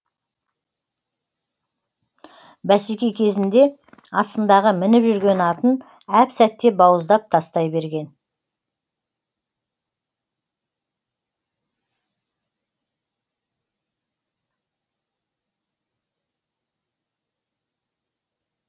бәсеке кезінде астындағы мініп жүрген атын әп сәтте бауыздап тастай берген